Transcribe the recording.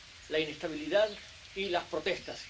la inestabilidad y las protestas.